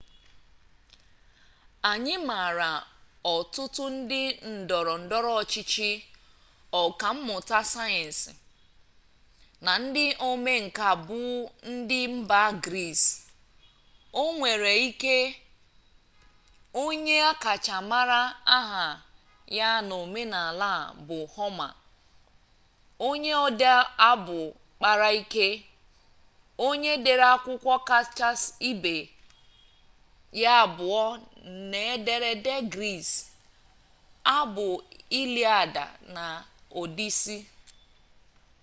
anyị maara ọtụtụ ndị ndọrọ ndọrọ ọchịchị ọka mmụta sayensị na ndị omenka buụ ndị mba gris onwere ike onye akacha mara aha ya n'omenala a bụ homa onye ode abụ kpara ike onye dere akwụkwọ kacha ibe ya abụọ n'ederede gris abụ iliad na odisi